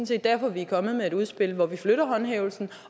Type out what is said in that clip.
set derfor vi er kommet med et udspil hvor vi flytter håndhævelsen